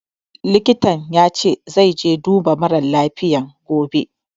Likitan ya ce zai je duba mara lafiyan gobe